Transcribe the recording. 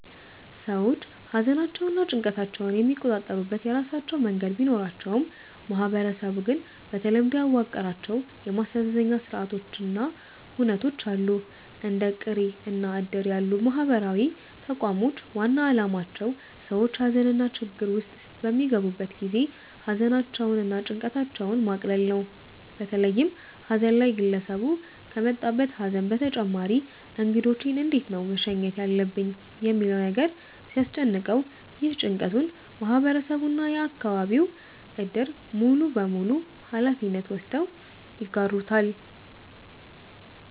ሰዎች ሃዘናቸውንና ጭንቀታቸውን የሚቆጣጠሩበት የራሳቸው መንገድ ቢኖራቸውም ማህበረሰቡ ግን በተለምዶ ያዋቀራቸው የማስተዛዘኛ ስርአቶች እና ሁነቶች አሉ። እንደ ቅሬ እና እድር ያሉ ማህበራዊ ተቋሞች ዋና አላማቸው ሰዎች ሃዘንና ችግር ውስጥ በሚገቡ ጊዜ ሃዘናቸውን እና ጭንቀታቸውን ማቅለል ነው። በተለይም ሃዘን ላይ ግለሰቡ ከመጣበት ሃዘን በተጨማሪ እንግዶቼን እንዴት ነው መሸኘት ያለብኝ ሚለው ነገር ሲያስጨንቀው፤ ይህንን ጭንቀቱን ማህበረሰቡ እና የአከባቢው እድር ሙሉበሙሉ ሃላፊነት ወስደው ይጋሩታል።